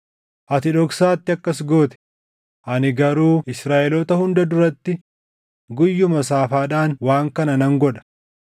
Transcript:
Ati dhoksaatti akkas goote; ani garuu Israaʼeloota hunda duratti guyyuma saafaadhaan waan kana nan godha.’ ”